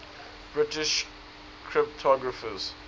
british cryptographers